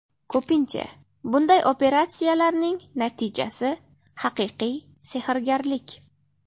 Ko‘pincha bunday operatsiyalarning natijasi haqiqiy sehrgarlik.